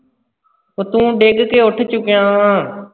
ਓਹ ਤੂੰ ਡਿੱਗ ਕੇ ਉੱਠ ਚੁੱਕਿਆ ਵਾਂ।